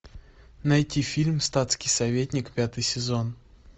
найти фильм статский советник пятый сезон